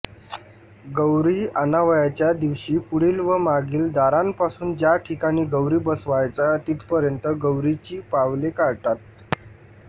गौरी आणावयाच्या दिवशी पुढील व मागील दारांपासून ज्या ठिकाणी गौरी बसवायच्या तिथपर्यंत गौरीची पावले काढतात